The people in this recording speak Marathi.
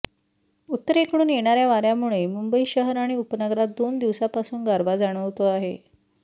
उत्तरेकडून येणाऱ्या वाऱ्यामुळे मुंबई शहर आणि उपनगरात दोन दिवसांपासून गारवा जाणवतो आहे